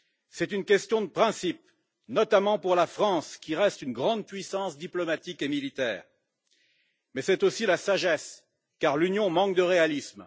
C'est une question de principe, notamment pour la France, qui reste une grande puissance diplomatique et militaire. Mais c'est aussi la sagesse, car l'Union manque de réalisme.